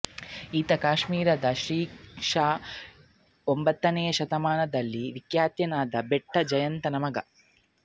ಈತ ಕಾಶ್ಮೀರದಲ್ಲಿ ಕ್ರಿ ಶ ಒಂಬತ್ತನೆಯ ಶತಮಾನದಲ್ಲಿ ವಿಖ್ಯಾತನಾಗಿದ್ದ ಭಟ್ಟ ಜಯಂತನ ಮಗ